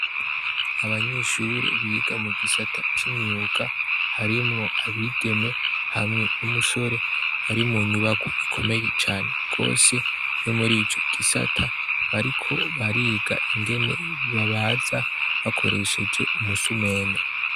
Abanyeshure biga mu gisata c'imyuga harimwo abigeme hamwe n'umusore bari mu nyubakwa ikomeye cane gose yo muri ico gisata, bariko bariga ingene babaza bakoresheje umusumeno.